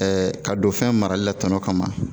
ka don fɛn marali la tɔnɔ kama